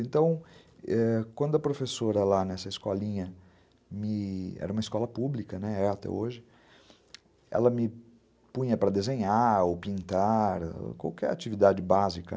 Então, ãh, quando a professora lá nessa escolinha, me... era uma escola pública até hoje, ela me punha para desenhar ou pintar, qualquer atividade básica.